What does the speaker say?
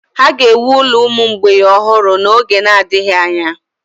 Ha ga-ewu ụlọ ụmụ mgbei ọhụrụ n'oge na-adịghị anya?